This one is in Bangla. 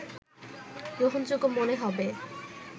গ্রহণযোগ্য মনে হবে